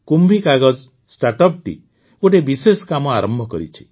କୁମ୍ଭୀ କାଗଜ ଷ୍ଟାର୍ଟଅପଟି ଗୋଟିଏ ବିଶେଷ କାମ ଆରମ୍ଭ କରିଛି